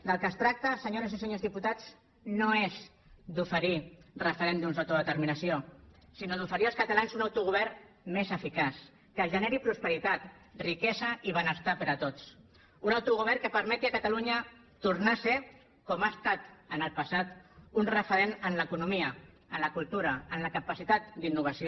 del que es tracta senyores i senyors diputats no és d’oferir referèndums d’autodeterminació sinó d’oferir als catalans un autogovern més eficaç que generi prosperitat riquesa i benestar per a tots un autogovern que permeti a catalunya tornar a ser com ha estat en el passat un referent en l’economia en la cultura en la capacitat d’innovació